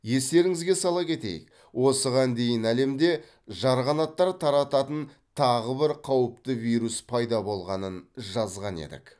естеріңізге сала кетейік осыған дейін әлемде жарғанаттар тарататын тағы бір қауіпті вирус пайда болғанын жазған едік